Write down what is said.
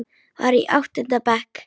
Var í áttunda bekk.